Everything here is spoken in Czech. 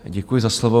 Děkuji za slovo.